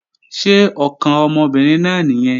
Ṣé ọkàn ọmọbìnrin náà nìyẹn?